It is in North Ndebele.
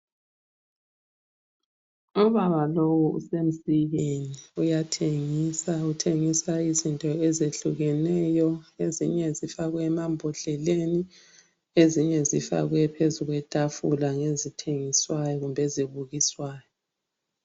Ubaba lowu usemsikeni uyathengisa uthengisa izinto ezehlukeneyo ezinye zifakwe emambodleleni ezinye zifakwe phezulu kwetafula ngezithengiswayo kumbe ezibukiswayo.